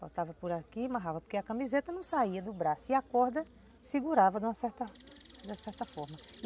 Botava por aqui e amarrava, porque a camiseta não saía do braço e a corda segurava de uma certa, de uma certa forma.